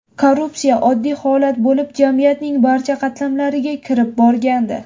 Korrupsiya oddiy holat bo‘lib, jamiyatning barcha qatlamlariga kirib borgandi.